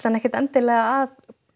ekkert endilega að